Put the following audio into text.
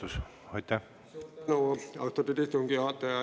Suur tänu, austatud istungi juhataja!